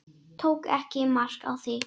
Tók ekki mark á því.